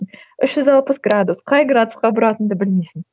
үш жүз алпыс градус қай градусқа бұратыныңды білмейсің